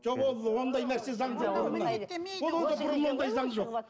жоқ ол ондай нәрсе заң жоқ ондай заң жоқ